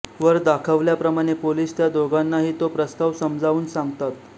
वर दाखवल्याप्रमाणे पोलिस त्या दोघांनाही तो प्रस्ताव समजावुन सांगतात